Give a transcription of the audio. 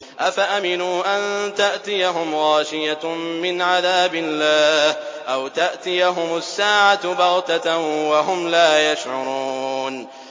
أَفَأَمِنُوا أَن تَأْتِيَهُمْ غَاشِيَةٌ مِّنْ عَذَابِ اللَّهِ أَوْ تَأْتِيَهُمُ السَّاعَةُ بَغْتَةً وَهُمْ لَا يَشْعُرُونَ